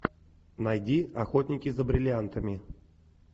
найди охотники за бриллиантами